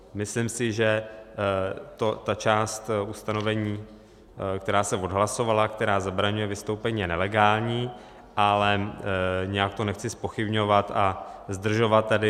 Myslím si, že ta část ustanovení, která se odhlasovala, která zabraňuje vystoupení, je nelegální, ale nijak to nechci zpochybňovat a zdržovat tady.